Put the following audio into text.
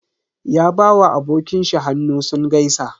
Ya ba wa abokin shi hannu sun gaisa.